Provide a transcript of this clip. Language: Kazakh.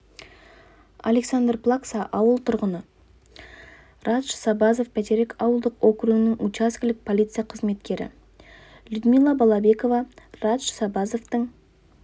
александр плакса ауыл тұрғыны радж сабазов бәйтерек ауылдық округінің учаскелік полиция қызметкері людмила балабекова радж сабазовтың